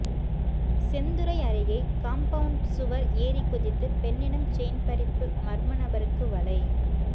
செந்துறை அருகே காம்பவுண்ட் சுவர் ஏறிகுதித்து பெண்ணிடம் செயின் பறிப்பு மர்மநபருக்கு வலை